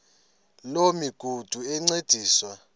loo migudu encediswa